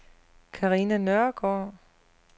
Carina Nørgaard